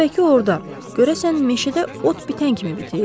Tənbəki orda görəsən meşədə ot bitən kimi bitir?